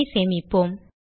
programஐ சேமிப்போம்